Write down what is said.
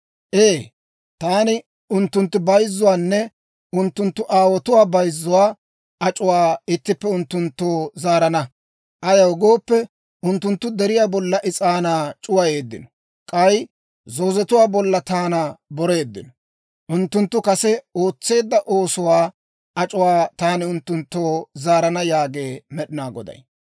Ee, taani unttunttu bayzzuwaanne unttunttu aawotuwaa bayzzuwaa ac'uwaa ittippe unttunttoo zaarana. Ayaw gooppe, unttunttu deriyaa bollan is'aanaa c'uwayeeddino; k'ay zoozetuwaa bollan taana boreeddino. Unttunttu kase ootseedda oosuwaa ac'uwaa taani unttunttoo zaarana» yaagee Med'inaa Goday.